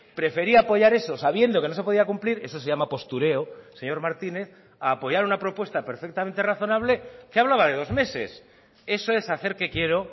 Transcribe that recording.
prefería apoyar eso sabiendo que no se podía cumplir eso se llama postureo señor martínez a apoyar una propuesta perfectamente razonable que hablaba de dos meses eso es hacer que quiero